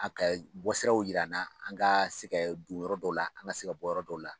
A kɛ bɔsiraw yira an na an ka se kɛ don yɔrɔ dɔw la an ka se ka bɔ yɔrɔ dɔw la.